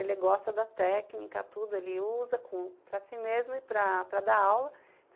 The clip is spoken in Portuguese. Ele gosta da técnica, tudo, ele usa com, para si mesmo e para dar aula.